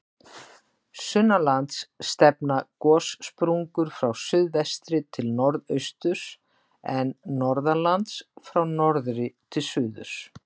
Sunnanlands stefna gossprungur frá suðvestri til norðausturs, en norðanlands frá norðri til suðurs.